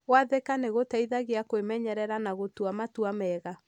Gwathĩka nĩ gũteithagia kwĩmenyerera na gũtua matua mega.